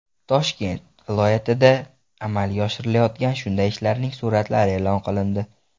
Toshkent viloyatida amalga oshirilayotgan shunday ishlarning suratlari e’lon qilindi.